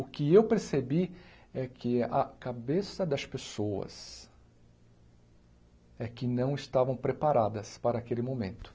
O que eu percebi é que a cabeça das pessoas é que não estavam preparadas para aquele momento.